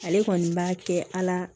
Ale kɔni b'a kɛ ala